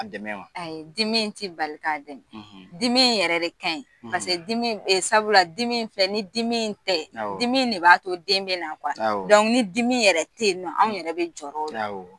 Ka dɛmɛ wa ? Ayi dimi in t'i bali ka dɛmɛ, dimi in yɛrɛ de kaɲi sabula dimi in filɛ ni dimi in te yen dimi ne b'a to den bɛna ni dimi yɛrɛ te yen, anw yɛrɛ bɛ jɔrɔ o la